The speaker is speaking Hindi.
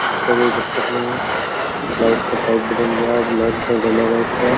जिससे कोई दिक्कत नहीं हो लाइट का पाइप भी डल गया अब लाइट डलेगा इसका।